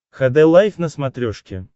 хд лайф на смотрешке